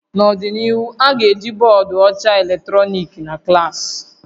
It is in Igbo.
N'ọdịnihu, a ga-eji bọọdụ ọcha eletrọnịkị na klaasị